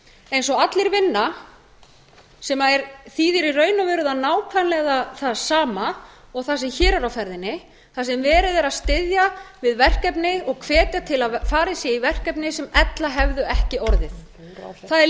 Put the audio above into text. eins og allir vinna sem þýðir í raun og veru nákvæmlega það sama og það sem hér er á ferðinni þar sem verið er að styðja við verkefni og hvetja til að farið sé í verkefni sem ella hefðu ekki orðið það er